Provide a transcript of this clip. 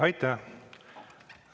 Aitäh!